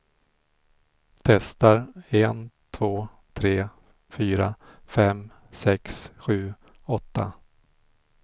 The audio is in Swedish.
Testar en två tre fyra fem sex sju åtta.